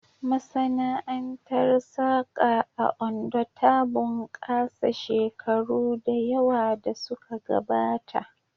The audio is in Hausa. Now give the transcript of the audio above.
Masana'antar saƙa a Ondo ta bunƙasa shekaru da yawa da suka gabata